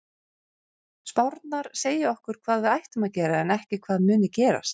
Spárnar segja okkur hvað við ættum að gera en ekki hvað muni gerast.